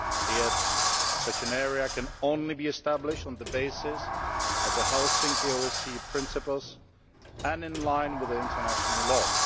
Yet, such an area can only be established on the basis of the Helsinki OSCE Principles and in line with international law.